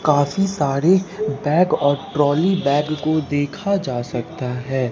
काफी सारे बैग और ट्रॉली बैग कोदेखा जा सकता है।